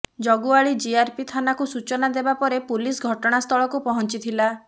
ଜଗୁଆଳି ଜିଆରପି ଥାନାକୁ ସୂଚନା ଦେବା ପରେ ପୁଲିସ ଘଟଣାସ୍ଥଳକୁ ପହଞ୍ଚିଥିଲା